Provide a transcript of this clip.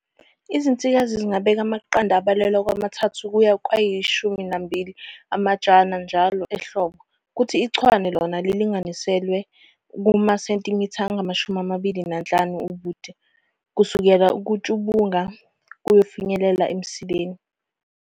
Izinsikazi zingabeka amaqanda abalelwa kwama-3 kuya kwayi-12 amajana njalo ehlobo, kuthi ichwane lona lilinganiselwe kuma sentimitha angama-25 ubude, kusukela kutshubungu kuyofinyelela emsileni.